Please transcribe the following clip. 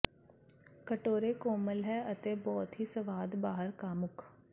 ਕਟੋਰੇ ਕੋਮਲ ਹੈ ਅਤੇ ਬਹੁਤ ਹੀ ਸਵਾਦ ਬਾਹਰ ਕਾਮੁਕ